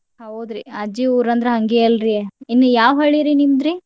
ಹೌದ್ರಿ ಅಜ್ಜಿ ಊರ ಅಂದ್ರ ಹಂಗೆ ಅಲ್ರಿ ಇನ್ನ್ ಯಾವ್ ಹಳ್ಳಿರಿ ನಿಮ್ದ್ರಿ?